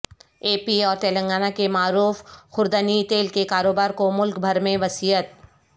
اے P اور تلنگانہ کے معروف خوردنی تیل کے کاروبار کو ملک بھر میں وسعت